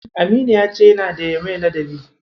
Aminu ya ce yana da ƴa mai ladabi.